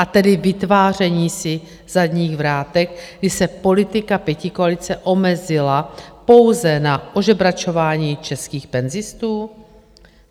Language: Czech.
A tedy vytváření si zadních vrátek, kdy se politika pětikoalice omezila pouze na ožebračování českých penzistů?